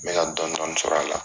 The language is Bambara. N bɛ ka dɔɔni dɔɔni sɔrɔ a la